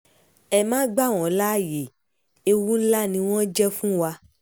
ẹ má gbà wọ́n láàyè o ewu ńlá ni wọ́n jẹ́ fún wa